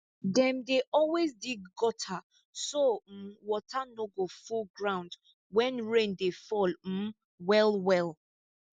dem dey always dig gutter so um water no go full ground when rain dey fall um well well